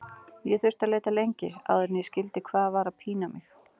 Ég þurfti að leita lengi áður en ég skildi hvað var að pína mig.